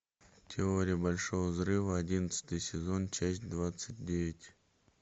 теория большого взрыва одиннадцатый сезон часть двадцать девять